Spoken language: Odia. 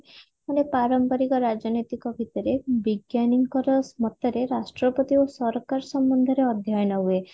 ମାନେ ପରମ୍ପରିକ ରାଜନୈତିକ ଭିତରେ ବିଜ୍ଞାନୀ ଙ୍କର ମତରେ ରାଷ୍ଟ୍ରପତି ଓ ସରକାର ସମ୍ବନ୍ଧ ରେ ଅଧ୍ୟୟନ ହୁଏ